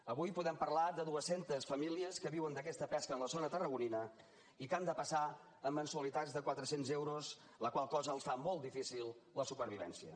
avui podem parlar de duescentes famílies que viuen d’aquesta pesca en la zona tarragonina i que han de passar amb mensualitats de quatrecents euros la qual cosa els fa molt difícil la supervivència